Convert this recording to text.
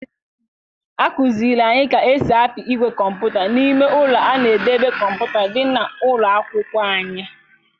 A kụziri anyị ka esi apị igwe kọmputa n'ime ụlọ a na-edobe kọmputa dị na ụlọ akwụkwọ anyị.